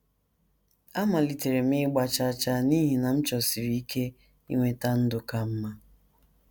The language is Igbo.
Amalitere m ịgba chaa chaa n’ihi na m chọsiri ike inweta ndụ ka mma.